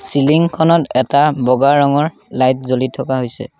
Ceiling খনত এটা বগা ৰঙৰ লাইট জ্বলি থকা হৈছে।